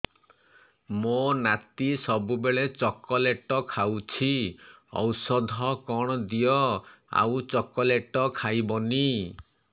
ମୋ ନାତି ସବୁବେଳେ ଚକଲେଟ ଖାଉଛି ଔଷଧ କଣ ଦିଅ ଆଉ ଚକଲେଟ ଖାଇବନି